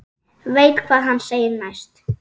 Veit hvað hann segir næst.